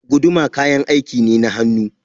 Guduma kayan aiki ne na hannu.